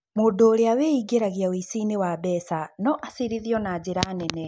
Mũndũ ũrĩa wĩingĩragia ũici-inĩ wa mbeca no acirithio na njĩra nene.